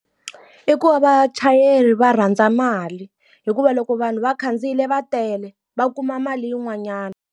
I ku va vachayeri va rhandza mali. Hikuva loko vanhu va khandziyile va tele, va kuma mali yin'wanyana.